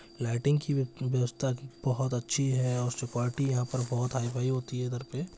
lighting की व्य-व्यवस्ता बहुत अच्छी है और सुपोर्टी यहाँ पर हाईफाई होती है इधर पे --